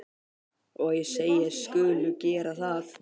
Og ég segist skulu gera það.